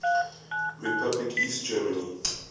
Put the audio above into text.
republic east germany